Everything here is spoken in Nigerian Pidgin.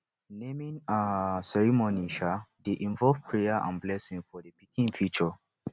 naming um ceremony um dey involve prayer and blessing for di pikin future